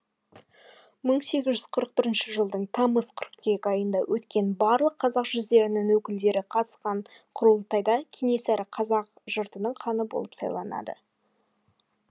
мың сегіз жүз қырық бірінші жылдың тамыз қыркүйек айында өткен барлық қазақ жүздерінің өкілдері қатысқан құрылтайда кенесары қазақ жртының ханы болып сайланды